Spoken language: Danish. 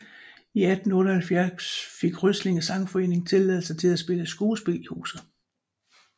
I 1878 fik Ryslinge Sangforening tilladelse til at spille skuespil i huset